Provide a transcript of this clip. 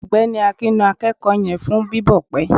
ọgbẹni akín na akeko yen fun bibọ pẹ